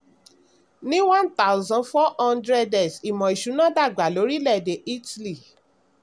ní one thousand four hundred s ìmò ìsúná dàgbà lórílẹ̀-èdè italy.